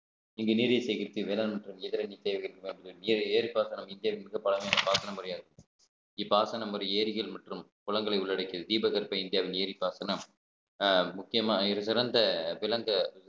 இங்கு நீரை சேகரித்து வேளாண் மற்றும் எதிரணி தேவைகளுக்கு பழமையான பாசன முறையாக இருக்கு இப்பாசனம் வரும் ஏரிகள் மற்றும் குளங்களை உள்ளடக்கியது தீபகற்ப இந்தியாவின் ஏரி பாசனம் அஹ் முக்கியமாக இது சிறந்த விளங்க